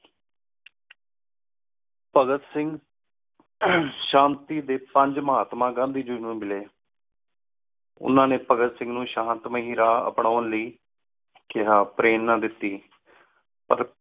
ਭਾਘਾਤ ਸਿੰਘ ਸ਼ਾਂਤੀ ਡੀ ਪੰਝ ਮਹਾਤਮਾ ਗੰਦੀ ਗੀ ਨੂ ਮਿਲੀ ਓਹਨਾ ਨੀ ਭਾਘਾਤ ਸਿੰਘ ਨੌ ਸ਼ਾਂਤ ਮਹਿ ਰਾਹ ਅਪਨਾਨ ਲੈ ਕਹਾ ਪ੍ਰੇਰਨਾ ਦਿਤੀ ਭਾਘਾਤ